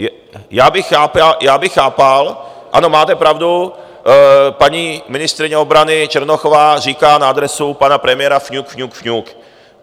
Já bych chápal, ano, máte pravdu, paní ministryně obrany Černochová říká na adresu pana premiéra: fňuk, fňuk, fňuk.